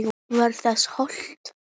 Var þér hótað?